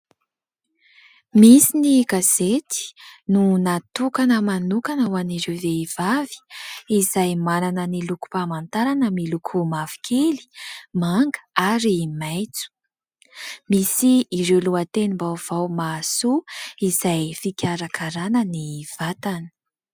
Misy ny gazety no natokana manokana ho an'ny ireo vehivavy izay manana ny lokom -pamantarana miloko mavokely manga ary maitso. Misy ireo lohatenim- baovao mahasoa izay fikarakarana ny vatana .